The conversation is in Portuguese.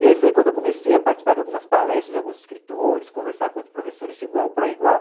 E aí foi quando eu comecei a participar de algumas palestras de alguns escritores, conversar com outros professores de igual para igual.